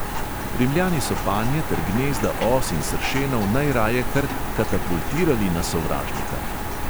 Rimljani so panje ter gnezda os in sršenov najraje kar katapultirali na sovražnika.